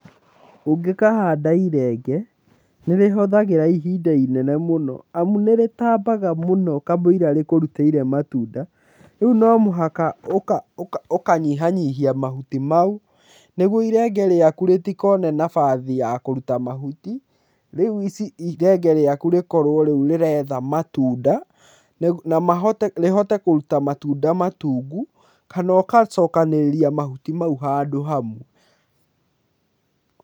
Ũngĩkahanda irenge, nĩ rĩhuthagĩra ihinda inene mũno. Amu nĩritambaga mũno kamũira rĩkũrutĩire matunda, rĩu no mũhaka ũkanyihanyihia mahuti mau nĩguo irenge rĩaku rĩtikone nabathi ya kũruta mahuti. Rĩu ici irenge rĩaku rĩkorwo rĩu rĩretha matunda, na mahote rĩhote kũruta matunda matungu, kana ũgacokanĩrĩria mahuti mau handũ hamwe.